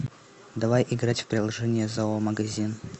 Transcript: давай играть в приложение зоомагазин